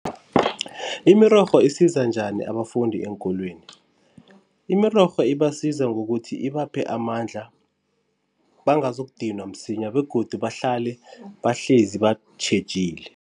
Imirorho isiza njani abafundi eenkolweni? Imirorho ibasiza ngokuthi ibaphe amandla, bangazokudinwa msinya begodu bahlale bahlezi batjhejile.